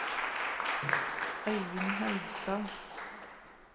Øivind Haugstad